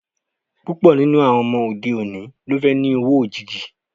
Púpọ̀ nínú àwọn ọmọ òde òní ló fẹ́ ni owó òjìji